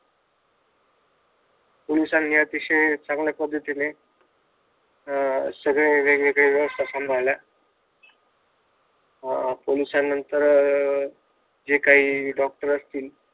पोलिसांनी अतिशय चांगल्या पद्धतीने अं सगळे वेगवगेळ्या व्यवस्था सांभाळल्या पोलिसानं नंतर जे काही डॉक्टर असतील